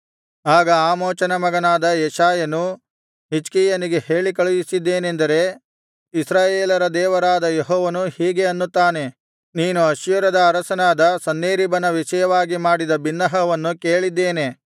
ಆಗ ಆಮೋಚನ ಮಗನಾದ ಯೆಶಾಯನು ಹಿಜ್ಕೀಯನಿಗೆ ಹೇಳಿಕಳುಹಿಸಿದ್ದೇನೆಂದರೆ ಇಸ್ರಾಯೇಲರ ದೇವರಾದ ಯೆಹೋವನು ಹೀಗೆ ಅನ್ನುತ್ತಾನೆ ನೀನು ಅಶ್ಶೂರದ ಅರಸನಾದ ಸನ್ಹೇರೀಬನ ವಿಷಯವಾಗಿ ಮಾಡಿದ ಬಿನ್ನಹವನ್ನು ಕೇಳಿದ್ದೇನೆ